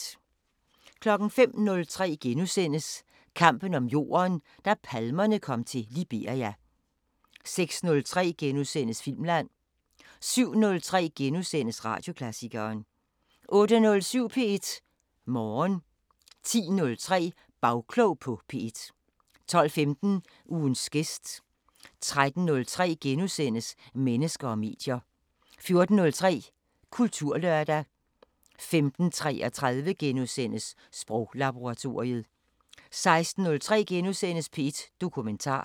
05:03: Kampen om jorden – da palmerne kom til Liberia * 06:03: Filmland * 07:03: Radioklassikeren * 08:07: P1 Morgen 10:03: Bagklog på P1 12:15: Ugens gæst 13:03: Mennesker og medier * 14:03: Kulturlørdag 15:33: Sproglaboratoriet * 16:03: P1 Dokumentar *